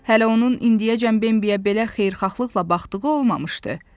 Hələ onun indiyəcən Bambiyə belə xeyirxahlıqla baxdığı olmamışdı.